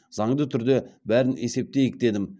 заңды түрде бәрін есептейік дедім